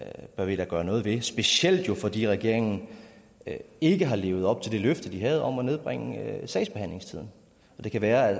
bør vi da gøre noget ved specielt jo fordi regeringen ikke har levet op til det løfte den havde om at nedbringe sagsbehandlingstiden det kan være at